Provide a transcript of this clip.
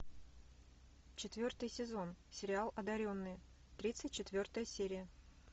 четвертый сезон сериал одаренные тридцать четвертая серия